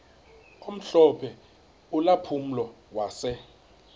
omhlophe ulampulo wase